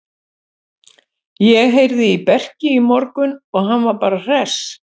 Ég heyrði í Berki í morgun og hann var bara hress.